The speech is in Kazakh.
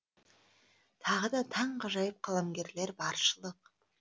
тағы да таңғажайып қаламгерлер баршылық